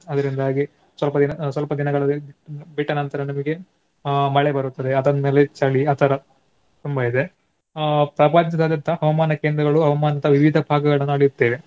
ಅದರಿಂದಾಗಿ ಸ್ವಲ್ಪ ದಿನ ಸ್ವಲ್ಪ ದಿನಗಳು ಬಿಟ್ಟ ನಂತರ ನಿಮಗೆ ಆಹ್ ಮಳೆ ಬರುತ್ತದೆ ಅದಾದ್ ಮೇಲೆ ಚಳಿ ಆ ತರ ತುಂಬಾ ಇದೆ. ಆಹ್ ಪ್ರಪಂಚದಾದ್ಯಂತ ಹವಾಮಾನ ಕೇಂದ್ರಗಳು ವಿವಿಧ ಭಾಗಗಳನ್ನಾ ಅಳೆಯುತ್ತೇವೆ.